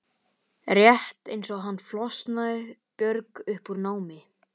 Albína, hvað er í dagatalinu í dag?